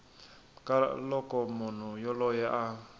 ka loko munhu yoloye a